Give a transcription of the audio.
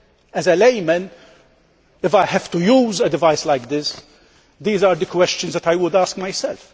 As a layman, if I had to use a device like this, these are the questions that I would ask myself.